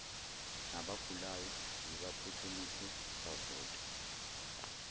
nabagulayo zibaphuthumise bavote